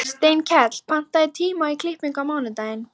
Steinkell, pantaðu tíma í klippingu á mánudaginn.